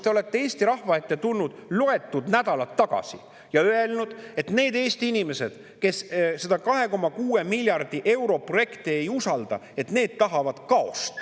Selles olukorras tulite te loetud nädalad tagasi Eesti rahva ette ja ütlesite, et need Eesti inimesed, kes seda 2,6 miljardi euro projekti ei usalda, tahavad kaost.